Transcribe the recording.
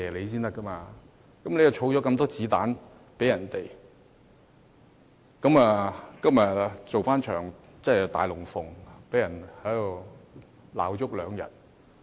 他們為泛民提供了很多"子彈"做一場"大龍鳳"，在這裏罵足兩天。